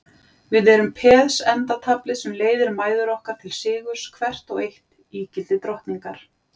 Við erum peðsendataflið sem leiðir mæður okkar til sigurs hvert og eitt ígildi drottningar.